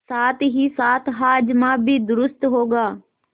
साथहीसाथ हाजमा भी दुरूस्त होगा